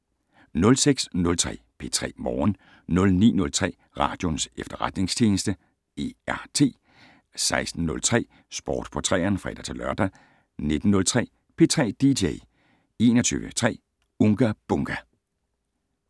06:03: P3 Morgen 09:03: Radioens Efterretningstjeneste - R.E.T. 16:03: Sport på 3eren (fre-lør) 19:03: P3 dj 21:03: Unga Bunga!